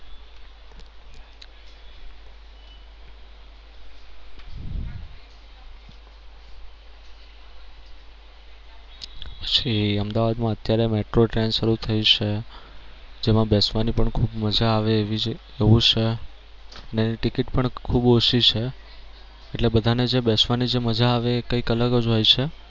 પછી અમદાવાદમાં અત્યારે મેટ્રો ટ્રેન શરૂ થઈ છે જેમાં બેસવાની પણ ખૂબ મજા આવે એવી છે એવું છે ને ટિકિટ પણ ખૂબ ઓછી છે એટલે બધા ને જે બેસવાની જે મજા આવે એ કઈક અલગ જ હોય છે.